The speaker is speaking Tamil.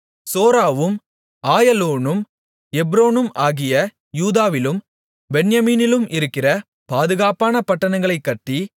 சோராவும் ஆயலோனும் எப்ரோனும் ஆகிய யூதாவிலும் பென்யமீனிலும் இருக்கிற பாதுகாப்பான பட்டணங்களைக் கட்டி